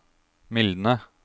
mildne